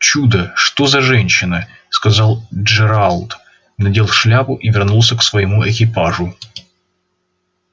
чудо что за женщина сказал джералд надел шляпу и вернулся к своему экипажу